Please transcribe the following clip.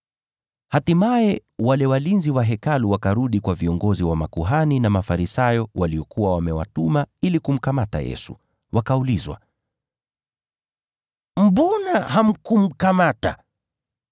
Hatimaye wale walinzi wa Hekalu wakarudi kwa viongozi wa makuhani na Mafarisayo waliokuwa wamewatuma ili kumkamata Yesu, wakaulizwa, “Mbona hamkumkamata?”